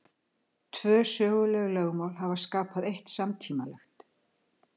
Tvö söguleg lögmál hafa skapað eitt samtímalegt.